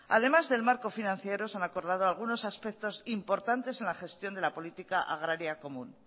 además del marco financiero se han acordado algunos aspectos importantes en la gestión de la política agraria común